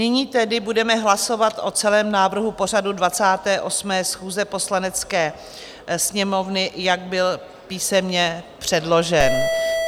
Nyní tedy budeme hlasovat o celém návrhu pořadu 28. schůze Poslanecké sněmovny, jak byl písemně předložen.